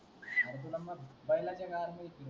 अरे तुला मग बैलांचा गाड्या घेकी